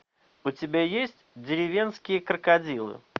у тебя есть деревенские крокодилы